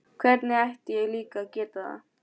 Hvernig ætti ég líka að geta það?